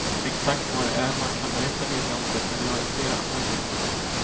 Exakt vad det är man kan berätta vet jag inte, men vi har ju fler möjligheter.